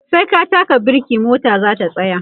sai ka taka birke mota zata tsaya